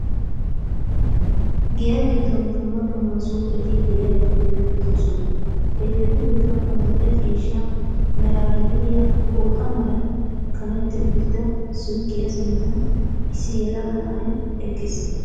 Giya giddon dumma dumma suuqeti de'iyageeti beettoosona. Hegeetu giddon adil"e ciishsha meraara de'iya pooxa malan kametti uttida suuqiya sinttan issi yelaga na'ay eqqiis.